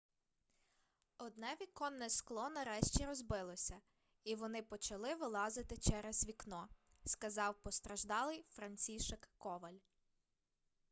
одне віконне скло нарешті розбилося і вони почали вилазити через вікно сказав постраждалий францішек коваль